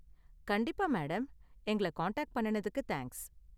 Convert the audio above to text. கண்டிப்பா, மேடம். எங்கள காண்டாக்ட் பண்ணுனதுக்கு தேங்க்ஸ்.